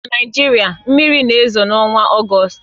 Na Naịjirịa, mmiri na-ezo n'ọnwa Ọgọst